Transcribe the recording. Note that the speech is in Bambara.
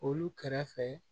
Olu kɛrɛfɛ